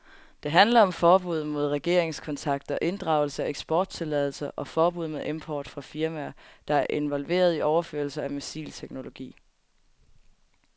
Det handler om forbud mod regeringskontakter, inddragelse af eksporttilladelser og forbud mod import fra firmaer, der er involveret i overførelser af missilteknologi.